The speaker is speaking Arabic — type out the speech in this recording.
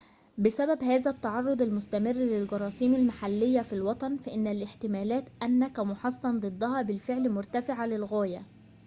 بسبب هذا التعرض المستمر للجراثيم المحلية في الوطن فإن الاحتمالات أنك محصن ضدها بالفعل مرتفعة للغاية